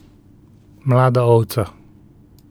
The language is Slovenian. Mlada ovca.